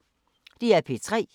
DR P3